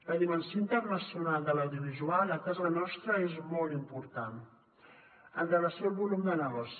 la dimensió internacional de l’audiovisual a casa nostra és molt important amb relació al volum de negoci